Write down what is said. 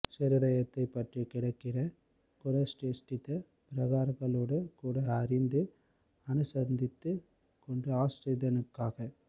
ஹிருதயத்தைப் பற்றிக் கிடக்கிற குண சேஷ்டித்த பிரகாரங்களோடு கூட அறிந்து அனுசந்தித்துக் கொண்டு ஆஸ்ரிதனுக்காக